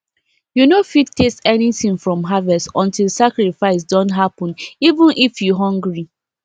you no fit taste anything from harvest until sacrifice don happeneven if you hungry